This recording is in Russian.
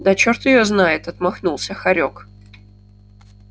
да чёрт её знает отмахнулся хорёк